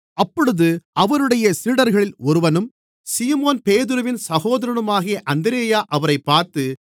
அப்பொழுது அவருடைய சீடர்களில் ஒருவனும் சீமோன் பேதுருவின் சகோதரனுமாகிய அந்திரேயா அவரைப் பார்த்து